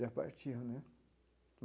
Já partiu né.